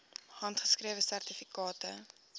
handgeskrewe sertifikate